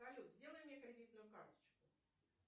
салют сделай мне кредитную карточку